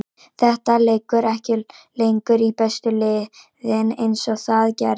Þetta liggur ekki lengur í bestu liðin eins og það gerði.